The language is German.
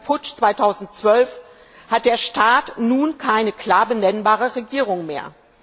Seit dem Putsch 2012 hat der Staat nun keine klar benennbare Regierung mehr.